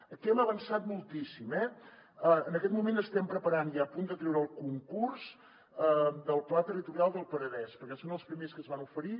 aquí hem avançat moltíssim eh en aquest moment estem preparant i a punt de treure el concurs del pla territorial del penedès perquè són els primers que es van oferir